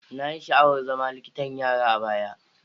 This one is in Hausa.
Na yi sha'awar zama likitan yara a baya.